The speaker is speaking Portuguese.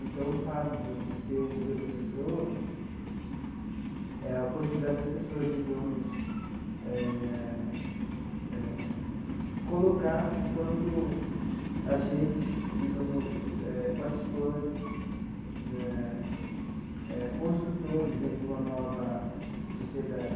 Então, o fato do de ter o Museu da Pessoa é a possibilidade das pessoas, digamos, eh eh colocar enquanto agentes, digamos eh, participantes né, construtores né de uma nova sociedade.